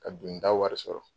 Ka dunda wari sɔrɔ